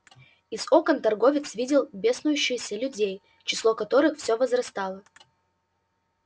из окон торговец видел беснующихся людей число которых все возрастало